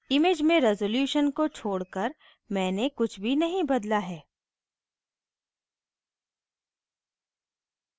image में resolution को छोड़कर मैंने कुछ भी नहीं बदला है